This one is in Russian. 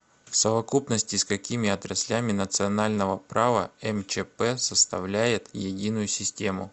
в совокупности с какими отраслями национального права мчп составляет единую систему